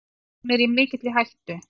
Hún er í mikilli hættu.